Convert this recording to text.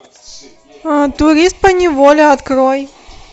турист поневоле открой